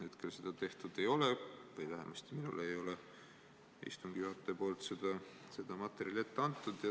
Hetkel seda tehtud ei ole või vähemasti minule ei ole istungi juhataja poolt seda materjali ette antud.